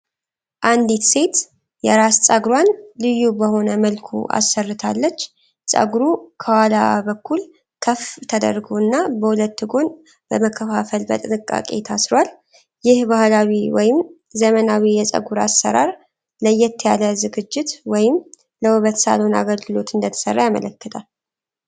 አንዲት ሴት የራስ ፀጉሯን ልዩ በሆነ መልኩ አሰርታለች። ፀጉሩ ከኋላ በኩል ከፍ ተደርጎ እና በሁለት ጎን በመከፋፈል በጥንቃቄ ታስሯል። ይህ ባህላዊ ወይም ዘመናዊ የፀጉር አሠራር ለየት ያለ ዝግጅት ወይም ለውበት ሳሎን አገልግሎት እንደተሰራ ያመለክታል።